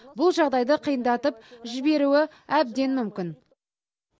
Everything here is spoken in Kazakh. бұл жағдайды қиындатып жіберуі әбден мүмкін